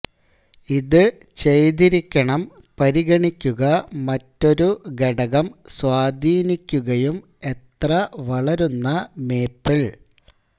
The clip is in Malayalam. ഇത് ചെയ്തിരിക്കണം പരിഗണിക്കുക മറ്റൊരു ഘടകം സ്വാധീനിക്കുകയും എത്ര വളരുന്ന മേപ്പിൾ